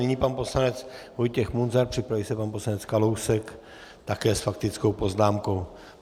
Nyní pan poslanec Vojtěch Munzar, připraví se pan poslanec Kalousek, také s faktickou poznámkou.